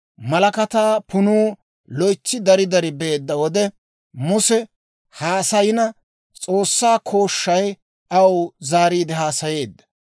Malakataa punuu loytsi dari dari beedda wode, Muse haasayina, S'oossaa kooshshay aw zaariide haasayeedda.